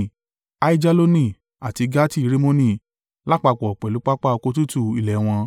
Aijaloni àti Gati-Rimoni lápapọ̀ pẹ̀lú pápá oko tútù ilẹ̀ wọn.